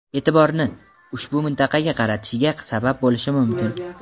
e’tiborini ushbu mintaqaga qaratishiga sabab bo‘lishi mumkin.